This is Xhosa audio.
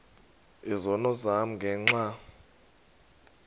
izono zam ngenxa